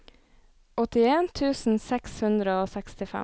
åttien tusen seks hundre og sekstifem